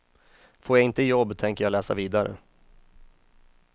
Får jag inte jobb tänker jag läsa vidare.